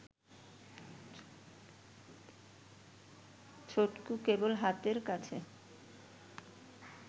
ছটকু, কেবল হাতের কাছে